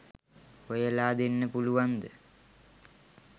හොයලා දෙන්න පුළුවන්ද?